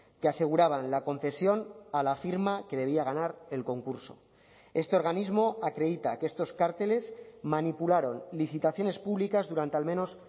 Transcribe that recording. que aseguraban la concesión a la firma que debía ganar el concurso este organismo acredita que estos cárteles manipularon licitaciones públicas durante al menos